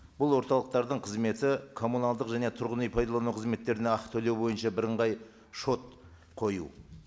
бұл орталықтардың қызметі коммуналдық және тұрғын үй пайдалану қызметтеріне ақы төлеу бойынша бірыңғай шот қою